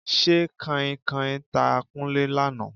Ṣé Kanhinkanhin ta Kúnlé lánàá?